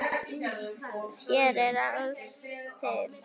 Hér er allt til alls.